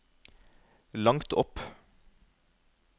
langt opp